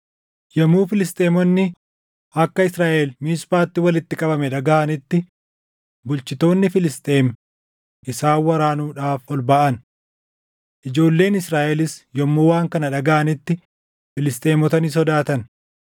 Yommuu Filisxeemonni akka Israaʼel Miisphaatti walitti qabame dhagaʼanitti bulchitoonni Filisxeem isaan waraanuudhaaf ol baʼan. Ijoolleen Israaʼelis yommuu waan kana dhagaʼanitti Filisxeemota ni sodaatan.